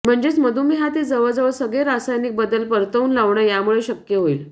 म्हणजेच मधुमेहातील जवळजवळ सगळे रासायनिक बदल परतवून लावणं यामुळे शक्य होईल